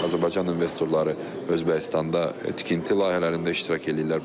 Azərbaycan investorları Özbəkistanda tikinti layihələrində iştirak eləyirlər.